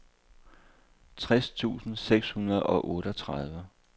tres tusind seks hundrede og otteogtredive